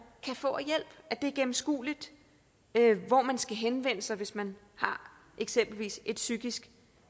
kan få af hjælp at det er gennemskueligt hvor man skal henvende sig hvis man eksempelvis har et psykisk